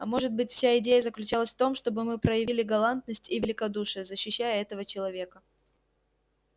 а может быть вся идея заключалась в том чтобы мы проявили галантность и великодушие защищая этого человека